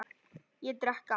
Ég drekk ekki.